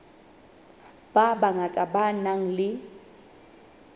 ba bangata ba nang le